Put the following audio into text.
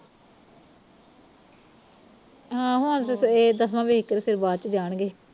ਹਾਂ ਹੁਣ ਤੇ ਸਵੇਰ ਦਹ ਇਕ ਇਕ ਬਾਅਦ ਚ ਜਾਣਗੇ